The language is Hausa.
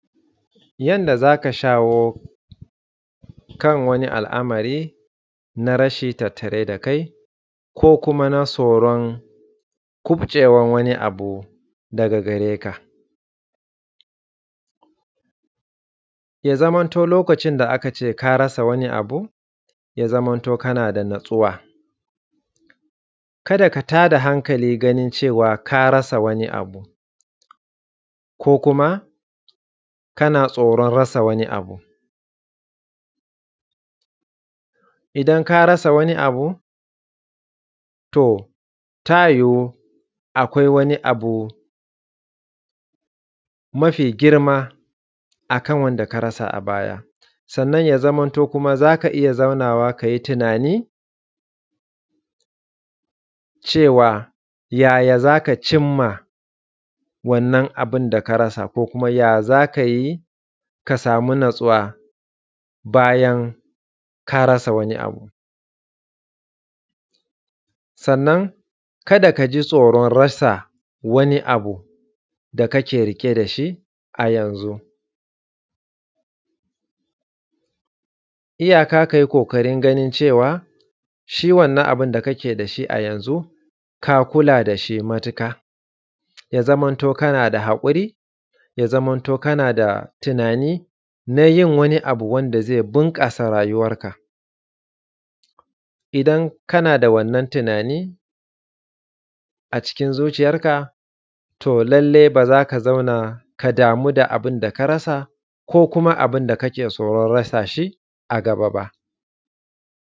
Yanda za ka shawo kan wani al’amari na rashi tattare da kai ko kuma na tsoron kuɓcewan wani abu daga gareka ya zamanto lokacin da aka ce ka rasa wnai abu ya zamanto kana da natsuwa ka da ka tada hankali wajen cewa ka rasa wani abu ko kuma kana tsoron rasa wani abu. Idan ka rasa wani abu to tayiyu akwai wani abu mafi girma akan wanda karasa a baya, sannan ya zamanto za ka iya zaunawa ka yi tunani cewa yaya za ka cimma wannan abun da ka rasa ko kuma ya za ka yi ka samu natsuwa bayan ka rasa wani abu? Sannan ka da ka ji tsoron rasa wani abu da kake riƙe da shi a yanzu, iyaka ka yi ƙoƙarin ganin cewa shi wannan abun da kake da shi a yanzu ka kula da shi matuƙa, ya zamanto kana da haƙuri, ya zamanto kana da tunani na yin wani abu wanda ze bunƙasa rayuwanka idan kana da wannan tunani a cikin zuciyanka to lallai ba za ka zauna ka damu da abun da ka ra sa ko kuma abun da kake tsoron rasa shi a gaba ba.